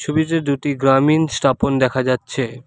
ছবিতে দুটি গ্রামীন স্টাপন দেখা যাচ্ছে।